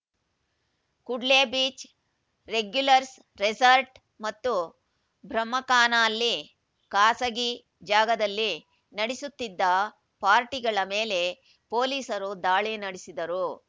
Kudle beach regulars resort ಮತ್ತು ಬ್ರಹ್ಮಕಾನಲ್ಲಿ ಖಾಸಗಿ ಜಾಗದಲ್ಲಿ ನಡೆಸುತ್ತಿದ್ದ ಪಾರ್ಟಿಗಳ ಮೇಲೆ ಪೊಲೀಸರು ದಾಳಿ ನಡೆಸಿದರು